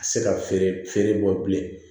Se ka feere feere bɔ bilen